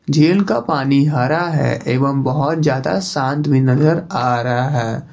Jail का पानी हरा है एवं बहोत ज्यादा शांत भीं नजर आ रहा है।